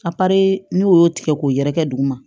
n'o y'o tigɛ k'o yɛrɛkɛ duguma